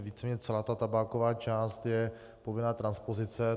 Víceméně celá ta tabáková část je povinná transpozice.